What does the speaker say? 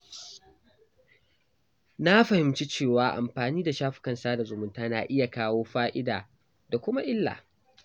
Na fahimci cewa amfani da shafukan sada zumunta na iya kawo fa’ida da kuma illa.